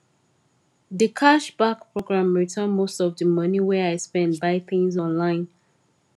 di cashback program return most of di money wey i spend buy things online